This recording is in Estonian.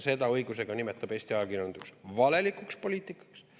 Õigusega nimetab Eesti ajakirjandus seda valelikuks poliitikaks.